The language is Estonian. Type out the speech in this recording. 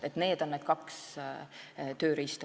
Need on praegu need kaks tööriista.